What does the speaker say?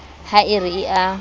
ha e re e a